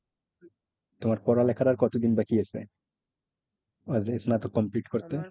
তোমার পড়ালেখার আর কত দিন বাকি আছে? স্নাতক complete করতে?